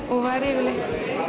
og var yfirleitt